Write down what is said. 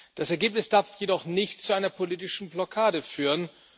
Das Ergebnis darf jedoch nicht zu einer politischen Blockade führen.